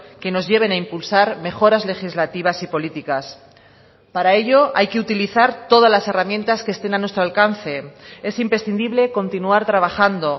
que nos lleven a impulsar mejoras legislativas y políticas para ello hay que utilizar todas las herramientas que estén a nuestro alcance es imprescindible continuar trabajando